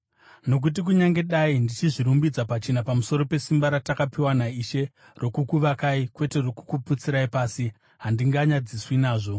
Nokuti kunyange dai ndichizvirumbidza pachena pamusoro pesimba ratakapiwa naIshe rokukuvakai kwete rokukuputsirai pasi, handinganyadziswi nazvo.